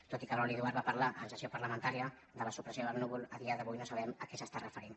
tot i que brauli duart va parlar en sessió parlamentària de la supressió del núvol a dia d’avui no sabem a què s’està referint